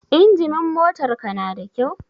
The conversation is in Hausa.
Injimin motar ka na da kyau?